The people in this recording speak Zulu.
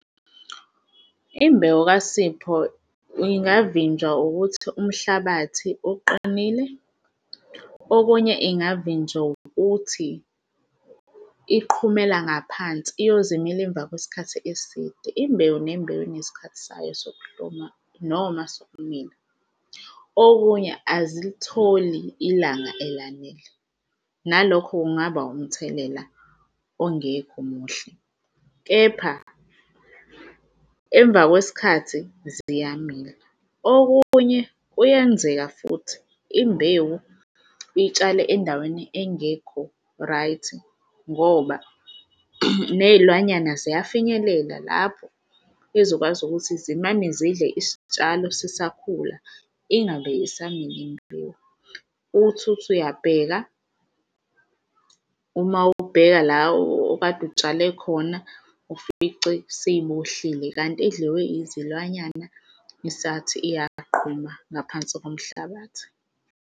Imbewu kasipho ingavinjwa ukuthi umhlabathi uqinile, okunye ingavinjwa ukuthi iqhumela ngaphansi iyoze imile emva kwesikhathi eside. Imbewu nembewu inesikhathi sayo, sokuhluma noma sokumila. Okunye azilitholi ilanga elanele nalokho kungaba umthelela ongekho muhle, kepha emva kwesikhathi ziyamila. Okunye, kuyenzeka futhi imbewu itshale endaweni engekho-right ngoba nezilwanyana ziyafinyelela lapho ezokwazi ukuthi zimane zidle isitshalo sisakhula. Ingabe isamila imbewu uthi uthi uyabheka uma ubheka la okade utshale khona, ufice seyimoshile kanti idliwe izilwanyana isathi uyaqhuma ngaphansi komhlabathi.